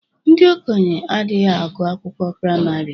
Ndi okenye adịghị agụ akwụkwọ praịmari